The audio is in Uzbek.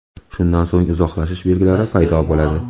Shundan so‘ng uzoqlashish belgilari paydo bo‘ladi.